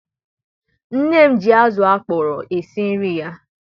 nne m ji azu akọrọ esi nri ya